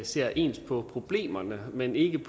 ser ens på problemerne men ikke